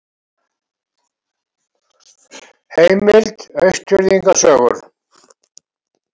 Heimild: Austfirðinga sögur.